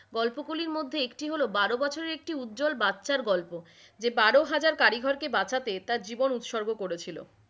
গল্প গুলির মধ্যে একটি হল বারো বছরের একটি উজ্জল বাচ্চার গল্প, যে বারো হাজার কারিগর কে বাঁচাতে তার জীবন উত্সর্গ করেছিল,